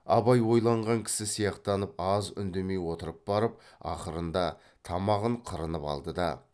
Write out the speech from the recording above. абай ойланған кісі сияқтанып аз үндемей отырып барып ақырында тамағын қырынып алды да